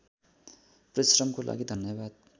परिश्रमको लागि धन्यवाद